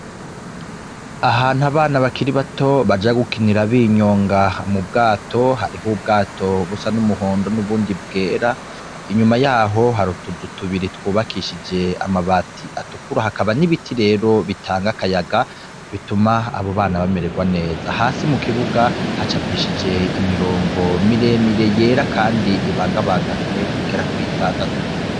Ahantu abana bakiri bato baja gukinira binyonga m'ubwato ,harih'ubwato busa n'umuhondo n'ubundi bwera, inyuma yaho har'utuzu tubiri twubakishije amabati atukura, hakaba n'ibiti rero bitanga akayaga bituma abo bana bamererwa neza, hasi mukibuga hacapishije imirongo miremire yera ,kandi ibangabanganwe igera kuritandatu.